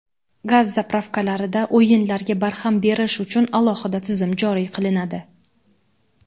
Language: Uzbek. Gaz "zapravka"larda "o‘yin"larga barham berish uchun alohida tizim joriy qilinadi.